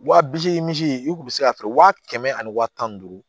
Wa bisegin misi i kun bɛ se ka feere wa kɛmɛ ani wa tan ni duuru